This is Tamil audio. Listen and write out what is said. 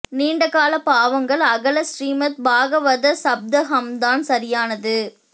நீண்ட கால பாவங்கள் அகல ஸ்ரீமத் பாகவத சப்தாஹம்தான் சரியானது